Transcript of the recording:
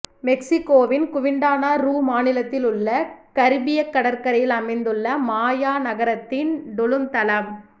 மெக்சிகோவின் Quintana Roo மாநிலத்தில் உள்ள கரிபியக் கடற்கரையில் அமைந்துள்ள மாயா நகரத்தின் டுலும் தளம்